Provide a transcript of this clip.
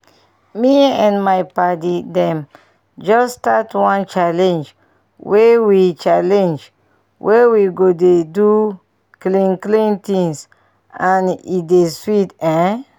me and my padi dem just start one challenge wey we challenge wey we go dey do clean clean thing and e dey sweet ehn